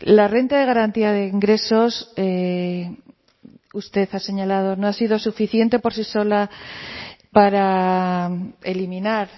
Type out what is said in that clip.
la renta de garantía de ingresos usted ha señalado no ha sido suficiente por sí sola para eliminar